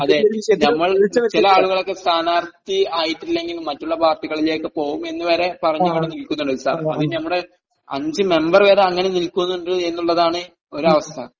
അതെ, നമ്മൾ... ചില ആളുകളൊക്കെ സ്ഥാനാർഥി ആയിട്ടില്ലെങ്കിൽ മറ്റുള്ള പാർട്ടികളിലേക്ക് പോകുമെന്നുവരെ പറഞ്ഞവിടെ നിൽക്കുന്നുണ്ട് സാർ.. അത് നമ്മുടെ അഞ്ചു മെമ്പർ വരെ അങ്ങനെ നിൽക്കുന്നുണ്ട് എന്നുള്ളതാണ് ഒരവസ്ഥ.